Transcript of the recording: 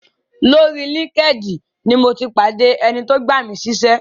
Orí linkedin ni mo ti pàdé ẹni tó gbà mí síṣẹ́.